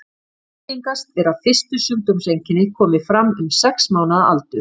Algengast er að fyrstu sjúkdómseinkenni komi fram um sex mánaða aldur.